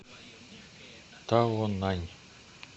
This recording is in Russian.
таонань